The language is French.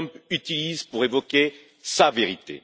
Trump utilise pour évoquer sa vérité.